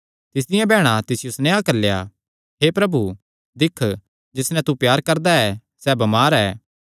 तिसदियां बैहणा तिसियो सनेहा घल्लेया हे प्रभु दिक्ख जिस नैं तू प्यार करदा ऐ सैह़ बमार ऐ